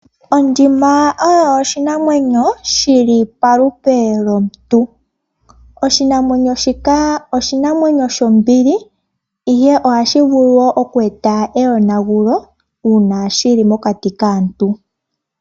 Ondjima oyo oshinamwenyo shi li palupe lwomuntu. Oshinamwenyo shika oshinamwenyo shombili, ihe ohashi vulu wo okweeta eyonagulo, uuna shi li mokati kaantu.